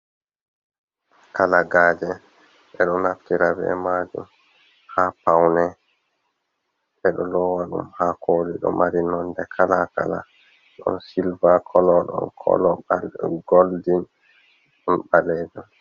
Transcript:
Kala-gaje: Bedo naftira be majum ha paune, bedo lowa dum ha koli. Do mari nonde kala kala. Don silva kolo, don kolo golden, don baleji.